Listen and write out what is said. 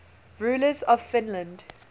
rulers of finland